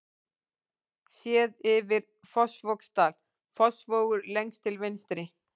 Séð yfir Fossvogsdal, Fossvogur lengst til vinstri.